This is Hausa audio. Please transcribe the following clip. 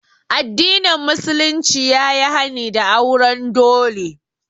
Addinin musulunci ya yi hani da auren dole